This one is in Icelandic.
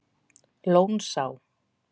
Lónsá